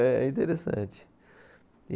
É interessante.